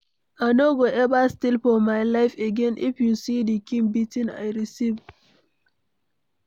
I no go ever steal for my life again. If you see the kin beating I receive.